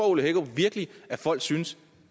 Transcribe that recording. ole hækkerup virkelig at folk synes